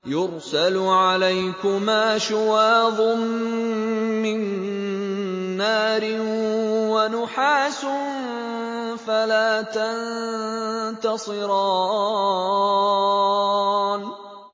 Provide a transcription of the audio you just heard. يُرْسَلُ عَلَيْكُمَا شُوَاظٌ مِّن نَّارٍ وَنُحَاسٌ فَلَا تَنتَصِرَانِ